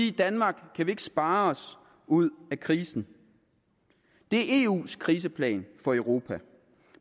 i danmark kan vi ikke spare os ud af krisen det er eus kriseplan for europa